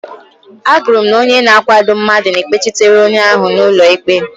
Agụrụ m na onye na-akwado mmadụ na-ekpechitere onye ahụ n'ụlọ ikpe.